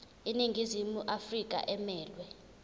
iningizimu afrika emelwe